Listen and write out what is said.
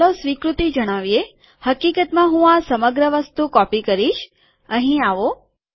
ચાલો સ્વીકૃતિ જણાવીએ હકીકતમાં હું આ સમગ્ર વસ્તુ કોપી કરીશ અહીં આવો